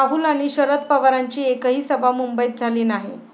राहुल आणि शरद पवारांची एकही सभा मुंबईत झाली नाही.